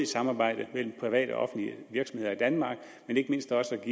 samarbejde mellem private og offentlige virksomheder i danmark men ikke mindst også